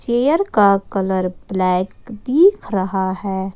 Air का colour black दिख रहा है।